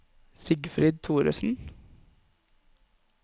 Sigfrid Thoresen